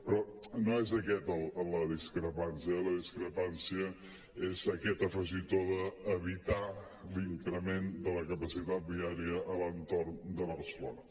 però no és aquesta la discrepància la discrepància és aquest afegitó d’evitar l’increment de la capacitat viària a l’entorn de barcelona